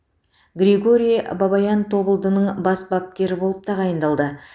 григорий бабаян тобылдың бас бапкері болып тағайындалды